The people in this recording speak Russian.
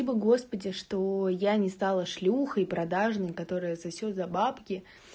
спасибо господи что я не стала шлюхой продажный которая сосёт за бабки